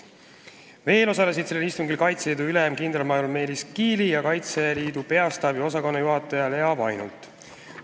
Veel osalesid sellel istungil Kaitseliidu ülem kindralmajor Meelis Kiili ja Kaitseliidu Peastaabi üldosakonna juhataja Lea Vainult.